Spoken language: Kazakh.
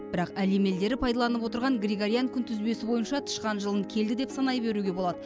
бірақ әлем елдері пайдаланып отырған григориян күнтізбесі бойынша тышқан жылын келді деп санай беруге болады